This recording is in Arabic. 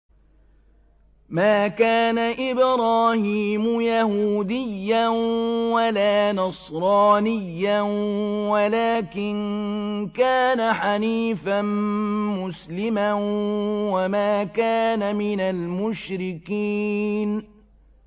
مَا كَانَ إِبْرَاهِيمُ يَهُودِيًّا وَلَا نَصْرَانِيًّا وَلَٰكِن كَانَ حَنِيفًا مُّسْلِمًا وَمَا كَانَ مِنَ الْمُشْرِكِينَ